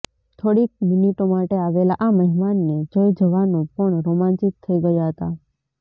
થોડીક મિનિટો માટે આવેલા આ મહેમાનને જોઈ જવાનો પણ રોમાંચિત થઈ ગયા હતા